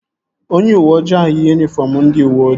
Onye uweoji ahụ yi yunifọm ndị uweojii